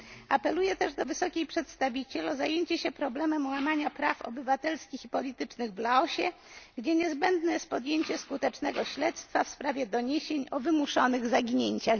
Apeluję też do wysokiej przedstawiciel o zajęcie się problemem łamania praw obywatelskich i politycznych w Laosie, gdzie niezbędne jest podjęcie skutecznego śledztwa w sprawie doniesień o wymuszonych zaginięciach.